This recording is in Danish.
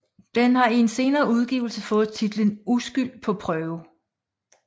Den har i en senere udgivelse fået titlen Uskyld på prøve